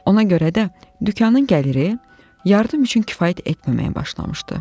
Ona görə də dükanın gəliri yardım üçün kifayət etməməyə başlamışdı.